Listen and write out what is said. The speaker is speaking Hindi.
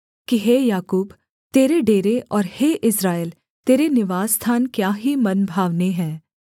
हे याकूब तेरे डेरे और हे इस्राएल तेरे निवासस्थान क्या ही मनभावने हैं